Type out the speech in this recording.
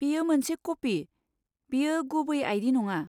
बेयो मोनसे कपि, बेयो गुबै आइ. डि. नङा।